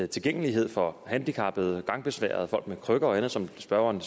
tilgængelighed for handicappede gangbesværede folk med krykker og andet som spørgeren